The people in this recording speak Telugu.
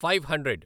five hundred